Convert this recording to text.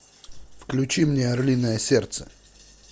включи мне орлиное сердце